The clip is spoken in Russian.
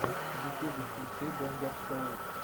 в ютюбе включи бомбер шоу